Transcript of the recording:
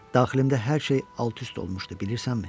Daxilimdə hər şey alt-üst olmuşdu, bilirsənmi?